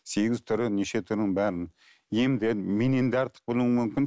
сегіз түрі неше түрін бәрін емдерін менен де артық білуің мүмкін